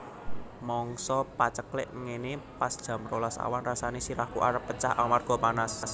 Mangsa paceklik ngene pas jam rolas awan rasane sirahku arep pecah amarga panas